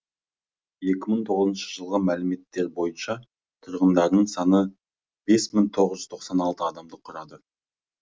екі мың тоғызыншы жылғы мәліметтер бойынша тұрғындарының саны бес мың тоғыз жүз тоқсан алты адамды құрады